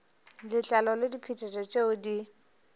letlalo le diphetetšo tšeo di